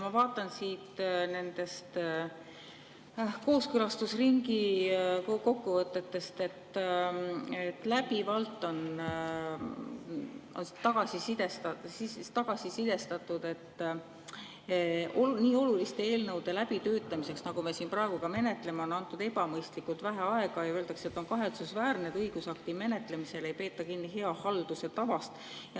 Ma vaatan kooskõlastusringi kokkuvõtetest, et läbivalt on tagasisidestatud, et nii oluliste eelnõude läbitöötamiseks, nagu me siin praegu menetleme, on antud ebamõistlikult vähe aega, ja öeldakse, et on kahetsusväärne, et õigusakti menetlemisel ei peeta kinni hea halduse tavast.